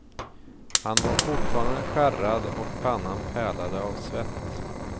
Han var fortfarande skärrad och pannan pärlade av svett.